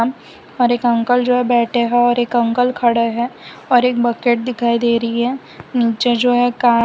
हर एक अंकल जो बैठे हैं और एक अंकल खड़े हैं और एक बकेट दिखाई दे रही है नीचे जो है कार --